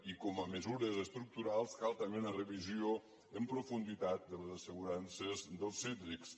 i com a mesures estructurals cal també una revisió en profunditat de les assegurances dels cítrics